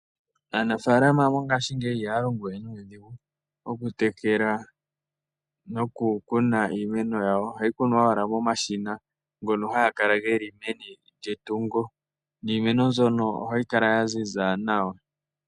Aanafalama mongashingeyi ihaya longowe nudhingu oku tekela noku kuna iimeno yawo ohayikunwa owala momashina gono hangakala geli meni lyetungo niimeno mbyono ohayikala yanzinza nawa.